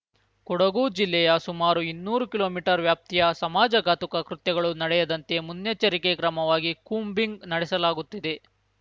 ಕೊಡಗು ಜಿಲ್ಲೆಯ ಸುಮಾರು ಇನ್ನೂರು ಕಿಲೋಮೀಟರ್ ವ್ಯಾಪ್ತಿಯ ಸಮಾಜ ಘಾತುಕ ಕೃತ್ಯಗಳು ನಡೆಯದಂತೆ ಮುನ್ನೆಚ್ಚರಿಕೆ ಕ್ರಮವಾಗಿ ಕೂಂಬಿಂಗ್ ನಡೆಸಲಾಗುತ್ತಿದೆ